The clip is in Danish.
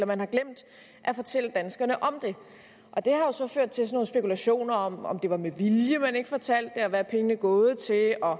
man har glemt at fortælle danskerne om det har jo så ført til nogle spekulationer om om det var med vilje at man ikke fortalte det hvad pengene er gået til og